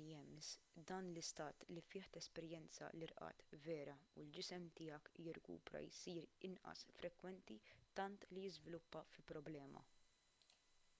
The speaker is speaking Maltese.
rems dan l-istat li fih tesperjenza l-irqad vera u l-ġisem tiegħek jirkupra jsir inqas frekwenti tant li jiżviluppa fi problema